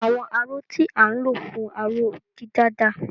Àwọn aró tí à ń lò fún aró-dídà dà?